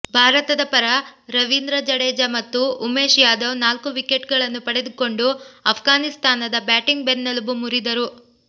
ಭಾರತದ ಪರ ರವಿಂದ್ರ ಜಡೇಜಾ ಮತ್ತು ಉಮೇಶ್ ಯಾದವ್ ನಾಲ್ಕು ವಿಕೆಟ್ ಗಳನ್ನು ಪಡೆದುಕೊಂಡು ಆಫ್ಘಾನಿಸ್ತಾನದ ಬ್ಯಾಟಿಂಗ್ ಬೆನ್ನೆಲಬು ಮುರಿದರು